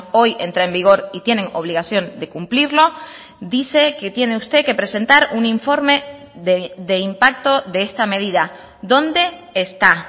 hoy entra en vigor y tienen obligación de cumplirlo dice que tiene usted que presentar un informe de impacto de esta medida dónde está